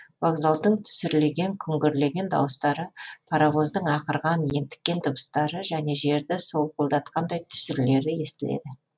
вокзалдың түсірлеген күңгірлеген дауыстары паровоздың ақырған ентіккен дыбыстары және жерді солқылдатқандай түсірлері естіледі